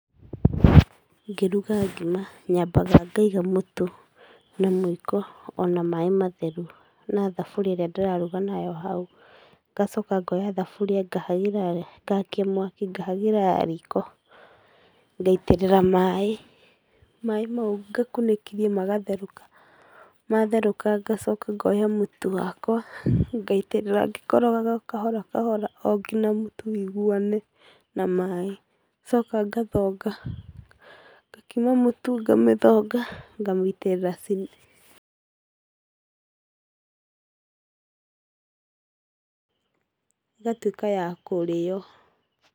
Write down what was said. Ngĩruga ngima nyambaga ngaiga mũtu na mũiko ona maaĩ matheru na thabũria ĩrĩa ndĩrarũga nayo hau, ngacoka ngoya thaburia ngakia mwaki ngahagĩra riko ngaitĩrĩra maaĩ maaĩ mau ngakunĩkĩria magatherũka matherũka ngacoka ngoya mũtu wakwa ngaitĩrĩra ngĩkorogaga o kahora kahora o nginya mũtu wũiguane na maaĩ. Ngacoka ngathonga ngakima mũtu ngathonga ngamĩitĩrĩra ĩgatuĩka ya kũrĩyo.